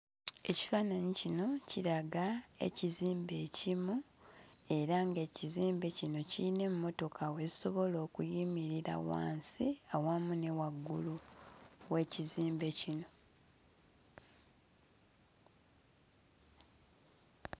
Ekifaananyi kino kiraga ekizimbe ekimu era ng'ekizimbe kino kiyina emmotoka we zisobola okuyimirira wansi awamu ne waggulu w'ekizimbe kino.